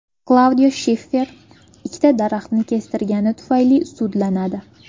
Klaudiya Shiffer ikkita daraxtni kestirgani tufayli sudlanadi.